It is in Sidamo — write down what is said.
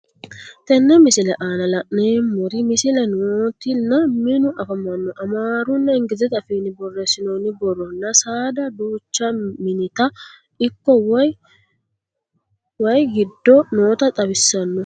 Tenne misile aanna la'neemmori misile nootti nna minnu affammanno Amaru nna englizete affinni borreessinoonni borro nna saadda duucha minita ikko wayi giddo nootta xawissanno